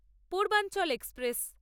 Purbanchal express